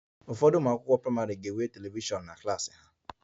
Ụfọdụ ụlọ akwụkwọ praịmarị ga-enwe telivishọn na klas ha